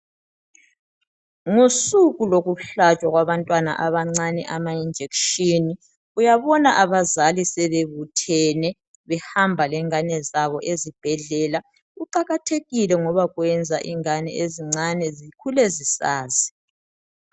Ngosuku lokuhlatshwa kwabantwana abancane ama injection, uyabona abazali sebebuthene behamba lengane zabo ezibhedlela. Kuqakathekile ngoba kuyenza ingane ezincane zikhule zisazi.